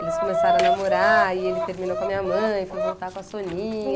Eles começaram a namorar, aí ele terminou com a minha mãe, foi voltar com a Soninha.